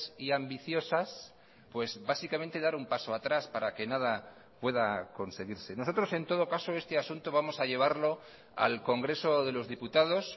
y ambiciosas pues básicamente dar un paso atrás para que nada pueda conseguirse nosotros en todo caso este asunto vamos a llevarlo al congreso de los diputados